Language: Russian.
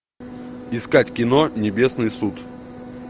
искать кино небесный суд